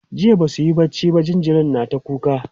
jiya Basu yi barci ba jinjirin na ta kuka